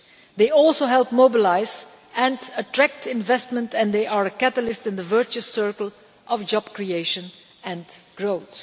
They also help mobilise and attract investment and they are a catalyst in the virtuous circle of job creation and growth.